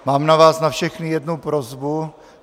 Mám na vás na všechny jednu prosbu.